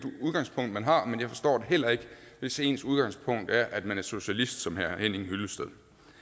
udgangspunkt man har men jeg forstår det heller ikke hvis ens udgangspunkt er at man er socialist som herre henning hyllested